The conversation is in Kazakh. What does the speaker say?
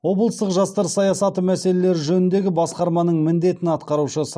облыстық жастар саясаты мәселелері жөніндегі басқарманың міндетін атқарушы